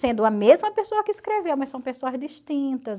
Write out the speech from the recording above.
Sendo a mesma pessoa que escreveu, mas são pessoas distintas.